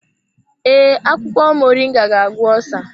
Ee, akwụkwọ moringa ga-agwọ osa.